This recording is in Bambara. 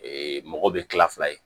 mɔgɔ bɛ kila fila ye